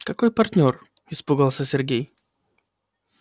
какой партнёр испугался сергей